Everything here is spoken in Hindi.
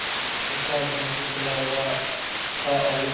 उसका मुख खुला हुआ था और